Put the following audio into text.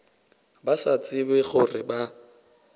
ba sa tsebe gore ba